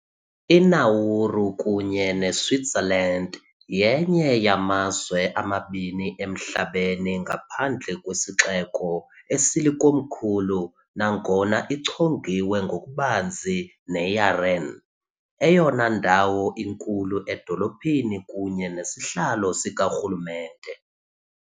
INauru, kunye neSwitzerland, yenye yamazwe amabini emhlabeni ngaphandle kwesixeko esilikomkhulu, nangona ichongiwe ngokubanzi neYaren, eyona ndawo inkulu edolophini kunye nesihlalo sikarhulumente.